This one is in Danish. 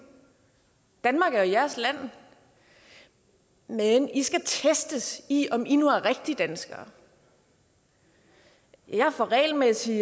danmark er jeres land men i skal testes i om i nu er rigtige danskere jeg får regelmæssigt